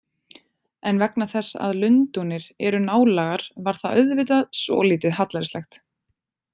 En vegna þess að Lundúnir eru nálægar varð það auðvitað svolítið hallærislegt.